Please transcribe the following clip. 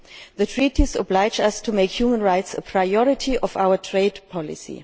The Treaties oblige us to make human rights a priority of our trade policy.